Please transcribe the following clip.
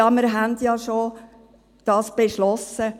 «Ja, wir haben das ja schon beschlossen.»